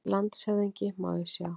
LANDSHÖFÐINGI: Má ég sjá?